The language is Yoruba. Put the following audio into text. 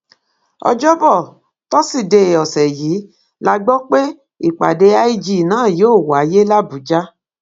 ọjọbọ tosidee ọsẹ yìí la gbọ pé ìpàdé lg náà yóò wáyé làbújá